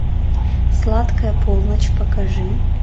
сладкая полночь покажи